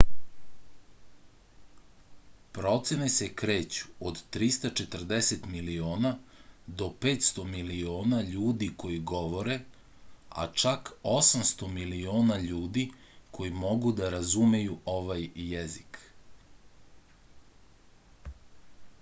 procene se kreću od 340 miliona do 500 miliona ljudi koji govore a čak 800 miliona ljudi koji mogu da razumeju ovaj jezik